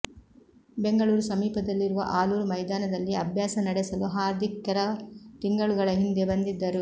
ಬೆಂಗಳೂರು ಸಮೀಪದಲ್ಲಿರುವ ಆಲೂರು ಮೈದಾನದಲ್ಲಿ ಅಭ್ಯಾಸ ನಡೆಸಲು ಹಾರ್ದಿಕ್ ಕೆಲ ತಿಂಗಳುಗಳ ಹಿಂದೆ ಬಂದಿದ್ದರು